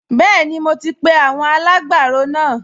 Bẹ́ẹ̀ni, mo ti pe àwọn alágbàro náà